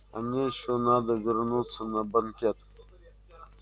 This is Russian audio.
а мне ещё надо вернуться на банкет